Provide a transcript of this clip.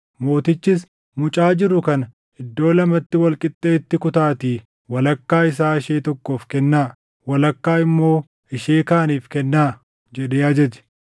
Mootichis, “Mucaa jiru kana iddoo lamatti wal qixxeetti kutaatii walakkaa isaa ishee tokkoof kennaa; walakkaa immoo ishee kaaniif kennaa” jedhee ajaje.